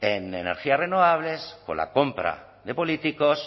en energías renovables con la compra de políticos